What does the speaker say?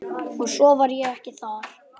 Og svo var ég ekki þar.